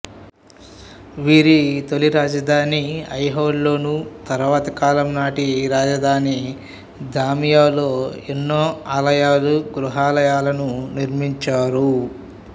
వీరి తొలి రాజ ధాని ఐహోల్ లోను తరువాతి కాలం నాటి రాజధాని బాదామిలో ఎన్నో ఆలయాలు గుహాలయాలను నిర్మించారు